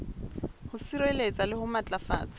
ho sireletsa le ho matlafatsa